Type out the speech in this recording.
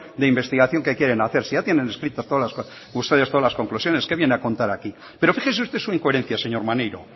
de investigación que quieren hacer si ya tienen ustedes escritas todas las conclusiones qué viene a contar aquí pero fíjese usted su incoherencia señor maneiro